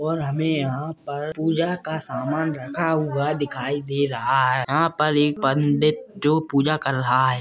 और हमे यहा पर पुजा का सामान रखा हुआ दिखाई दे रहा है यहा पर एक पंडित जो पुजा कर रहा है।